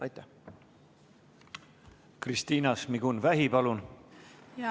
Kristina Šmigun-Vähi, palun!